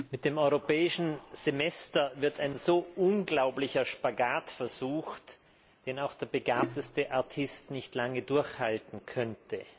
Mit dem Europäischen Semester wird ein unglaublicher Spagat versucht, den selbst der begabteste Artist nicht lange durchhalten könnte.